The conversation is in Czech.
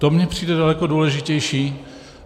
To mi přijde daleko důležitější.